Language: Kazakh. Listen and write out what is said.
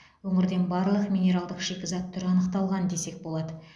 өңірден барлық минералдық шикізат түрі анықталған десек болады